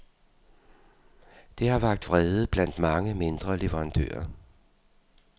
Det har vakt vrede blandt mange, mindre leverandører.